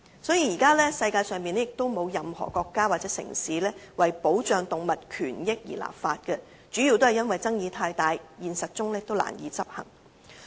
因此，現時世界上並沒有任何國家或城市為保障動物權益而立法，主要的原因是爭議太大，現實中難以執行。